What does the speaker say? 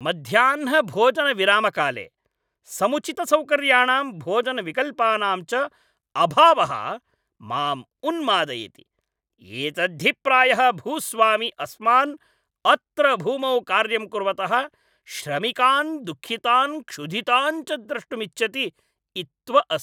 मध्याह्नभोजनविरामकाले समुचितसौकर्याणां भोजनविकल्पानां च अभावः माम् उन्मादयति। एतद्धि प्रायः भूस्वामी अस्मान् अत्र भूमौ कार्यं कुर्वतः श्रमिकान् दुःखितान् क्षुधितान् च द्रष्टुमिच्छति इत्व अस्ति।